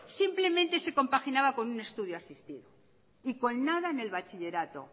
simplemente se compaginaba con un estudio asistido y con nada en el bachillerato